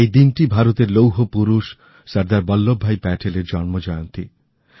এই দিনটি ভারতের লৌহ পুরুষ সর্দার বল্লভভাই প্যাটেলের জন্মজয়ন্তী